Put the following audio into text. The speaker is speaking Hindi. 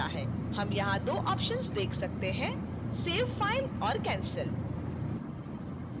हम यहाँ 2 options देख सकते हैं